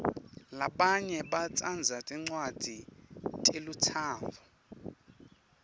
labanye batsandza tincwadzi telutsandvo